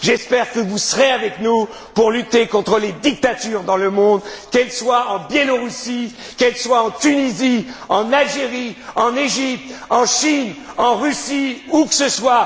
vous. J'espère que vous serez avec nous pour lutter contre les dictatures dans le monde, qu'elles soient en Biélorussie, qu'elles soient en Tunisie, en Algérie, en Égypte, en Chine, en Russie, où que